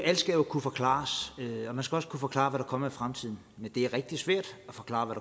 alt skal kunne forklares og man skal også kunne forklare kommer i fremtiden men det er rigtig svært at forklare hvad